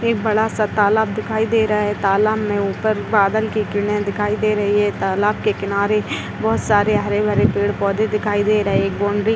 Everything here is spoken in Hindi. एक बड़ा सा तालाब दिखाई दे रहा है तालाब में ऊपर में बादल की किरणे दिखाई दे रही हैं तालाब के किनारे बहौत सारे हरे-भरे पेड़-पौधे दिखाई दे रहे हैं एक बॉउंड्री --